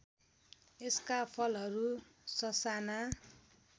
यसका फलहरू ससाना